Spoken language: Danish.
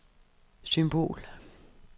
symbol